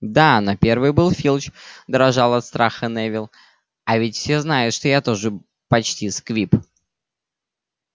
да на первый был филч дрожал от страха невилл а ведь все знают что я тоже почти сквиб